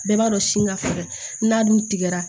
Bɛɛ b'a dɔn sin ka fɛgɛn n'a dun tigɛra